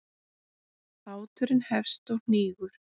Báturinn hefst og hnígur.